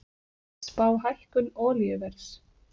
Spá hækkun olíuverðs